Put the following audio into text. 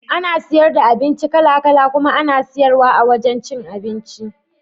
Ana saida abinci kala kala kuma ana siyar wa a wajan cin abinci.